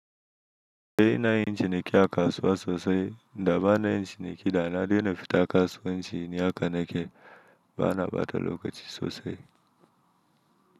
Eh ina yin ciniki a kasuwa sosai, da ba na yin ciniki da na daina fita kasuwanci ni haka nake, bana ɓata lokaci sosai.